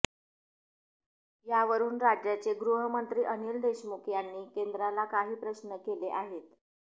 यावरुन राज्याचे गृहमंत्री अनिल देशमुख यांनी केंद्राला काही प्रश्न केले आहेत